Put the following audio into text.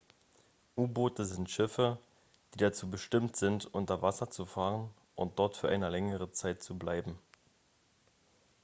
u-boote sind schiffe die dazu bestimmt sind unter wasser zu fahren und dort für eine längere zeit zu bleiben